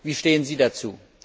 Wie stehen Sie dazu?